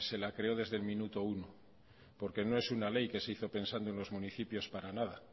la creó desde el minuto uno porque no es una ley que se hizo pensando en los municipios para nada